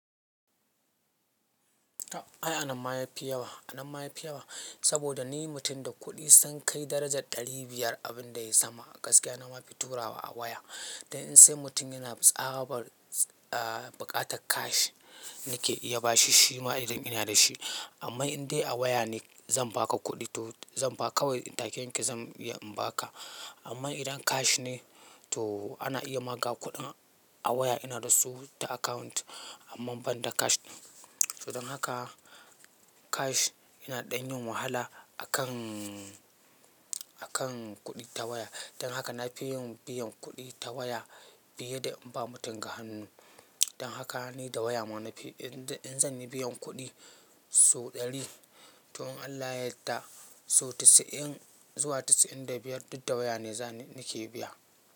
A'a, ai anan ma yafi yawa, anan ma yafi yawa. Saboda ni mutum da kuɗi sun kai darajar ɗari biyar abin da ya sama a gaskiya na ma fi turawa a waya. Dan in sai mutum yana tsabar a baƙatar cash nake iya bashi shi ma idan ina da shi. Amma in dai a waya ne zan baka kuɗi toh zan ba ka kawai take yanke zan iya in baka. Amma idan cash ne toh ana iya ma kawo kuɗin a waya ina da su ta account amma banda cash ɗin. So dan haka cash yana ɗanyin wahala akan, akan kuɗi ta waya. Dan haka na fi yin biyan kuɗi ta waya fiye da in ba mutum ga hannu. Dan haka ni da waya ma na fi, in zan yi biyan kuɗi sau ɗari, toh in Allah yadda sau casa'in zuwa casa'in da biyar duk da wayane ne nake biya.